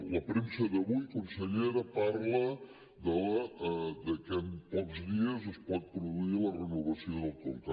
la premsa d’avui consellera parla que en pocs dies es pot produir la renovació del conca